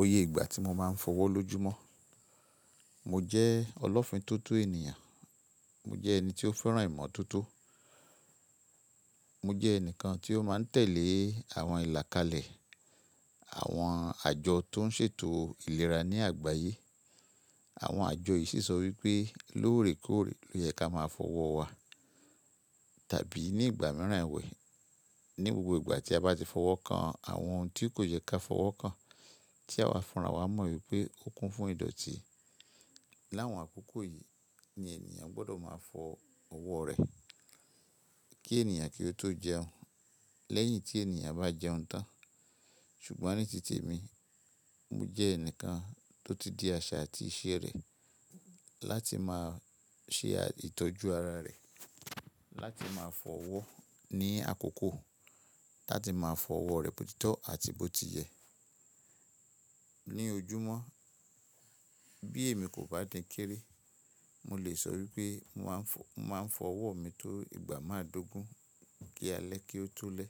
Oyé ìgbà tí mo máa ń fọwọ́ lójúmọ́, mo jẹ́ ọlọ́fińtótó ènìyàn, mo jẹ́ ẹni tí ó fẹ́ràn ìmọ̀ tótó, mo jẹ́ ẹnìkan tí ó máa ń tẹ̀lé àwọn ìlàkalẹ̀, àwọn àjọ tó ń ṣètò ìlera ní àgbáyé. Àwọn àjọ yìí sí sọ wípé lóòrèkóòrè ló yẹ ká máa fọwọ́ wa tàbí ní ìgbà mìíràn ìwé. Ni gbogbo ìgbà tí a bá ti fọwọ́ kan, àwọn ohun tí kò yẹ ká fọwọ́ kan tí àwa fúnra wa mọ̀ wípé ó kún fún ìdọ̀tí. Láwọn àkókò yìí ni ènìyàn gbọdọ̀ máa fọ ọwọ́ rẹ̀ kí ènìyàn kí ó tó jẹun lẹ́yìn tí ènìyàn bá jẹun tán. Ṣùgbọ́n ní tí te mi, mo jẹ́ ẹnìkan tó ti di àṣà àti iṣẹ́ rẹ̀ láti máa ṣe ìtọ́jú ara rẹ̀, láti máa fọ ọwọ́ ní àkókò, láti máa fọ ọwọ́ rẹ̀ botitọ́ àti bó ti yẹ. Ni ojúmọ́, bí èmi kò bá dínkìrì, mo lè sọ wípé mo máa ń fọ, mo máa ń fọ ọwọ́ mi tó ìgbà máa dógún kí a lẹ́ kí ó tó lẹ.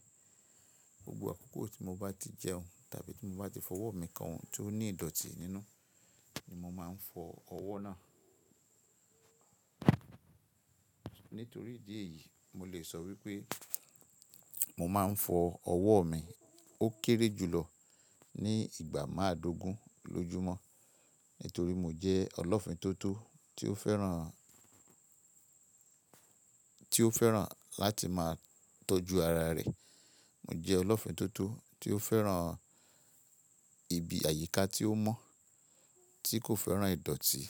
Gbogbo àkókò tí mo bá ti jẹun tàbí tí mo bá ti fọ ọwọ́ mi kan ohun tí ó ní ìdọ̀tí nínú ni mo máa ń fọ ọwọ́ náà. Nítorí ìdí èyí, mo lè sọ wípé mo máa ń fọ ọwọ́ mi ó kéré jùlọ ní ìgbà máa dógún lójúmọ́ nítorí mo jẹ́ ọlọ́fińtótó tí ó fẹ́ràn, tí ó fẹ́ràn láti máa tọ́jú ara rẹ̀. Mo jẹ́ ọlọ́fińtótó tí ó fẹ́ràn ibi àyíká tí ó mọ́ tí kò fẹ́ràn ìdọ̀tí.